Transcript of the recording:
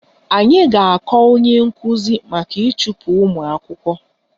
Anyị ga-akọ onye nkuzi maka ịchụpụ ụmụ akwụkwọ